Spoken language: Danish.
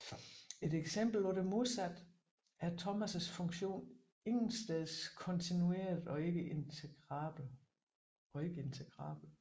Et eksempel på det modsatte er Thomaes funktion intetsteds kontinuert og ikke integrabel